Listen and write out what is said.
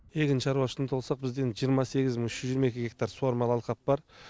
егін шаруашылығына тоқталсақ бізде жиырма сегіз мың үш жүз жиырма екі гектар суармалы алқап бар